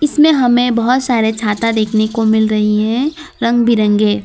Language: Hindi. इसमें हमे बोहोत सारे छाता देखने को मिल रही है रंग बिरंगे --